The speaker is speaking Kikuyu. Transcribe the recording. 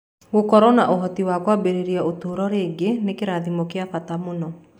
Gũkorũo na ũhoti wa kwambĩrĩria ũtũũro rĩngĩ nĩ kĩrathimo kĩa bata mũno.